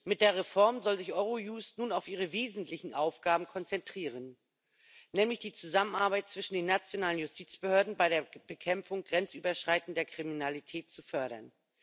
Mit der Reform soll sich Eurojust nun auf ihre wesentlichen Aufgaben konzentrieren, nämlich die Zusammenarbeit zwischen den nationalen Justizbehörden bei der Bekämpfung grenzüberschreitender Kriminalität zu fördern.